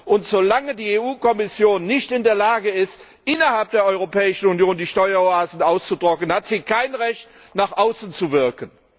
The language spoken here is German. Und solange die EU Kommission nicht in der Lage ist, innerhalb der Europäischen Union die Steueroasen auszutrocknen, hat sie kein Recht, nach außen zu wirken.